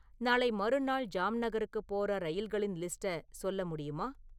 நாளை மறுநாள் ஜாம்நகருக்குப் போற ரயில்களின் லிஸ்ட்ட சொல்ல முடியுமா?